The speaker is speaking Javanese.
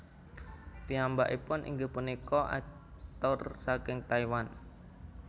Piyambakipun inggih punika aktor saking Taiwan